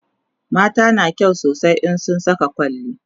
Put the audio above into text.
mata na kyau sosai in sun Saka kwalli